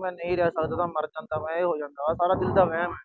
ਮੈਂ ਨਹੀਂ ਰਹਿ ਸਕਦਾ। ਮੈਂ ਮਰ ਜਾਗਾਂ, ਇਹ ਸਾਰਾ ਦਿਲ ਦਾ ਵਹਿਮ ਆ।